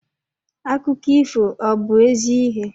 Akụkọ ifo ọ bu ezi ihe?